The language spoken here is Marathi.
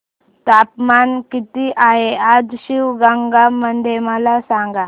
तापमान किती आहे आज शिवगंगा मध्ये मला सांगा